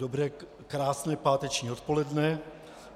Dobré, krásné páteční odpoledne.